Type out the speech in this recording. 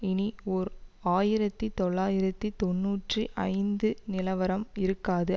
இனி ஓர் ஆயிரத்தி தொள்ளாயிரத்தி தொன்னூற்றி ஐந்து நிலவரம் இருக்காது